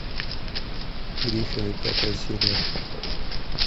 гриффины пятая серия